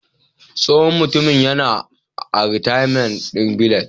Tsohon Mutumin yana a " retirement village"